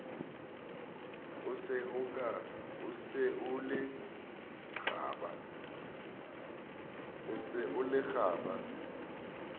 o se o le kgaba